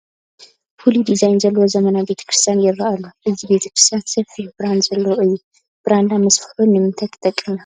ፍሉይ ዲዛይን ዘለዎ ዘመናዊ ቤተ ክርስቲያን ይርአ ኣሎ፡፡ እዚ ቤተ ክርስቲያን ሰፊሕ ብራንዳ ዘለዎ እዩ፡፡ ብራንዳ ምስፍሑ ንምንታይ ክጠቅም ይኽእል?